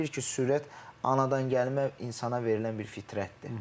Bilirik ki, sürət anadan gəlmə insana verilən bir fitrətdir.